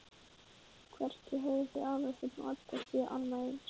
Hvergi höfðu þau Aðalsteinn og Edda séð annað eins.